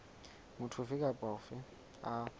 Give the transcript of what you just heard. motho ofe kapa ofe a